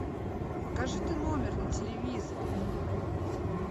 покажи ты номер на телевизоре